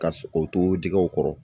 Ka o to jɛgɛw kɔrɔ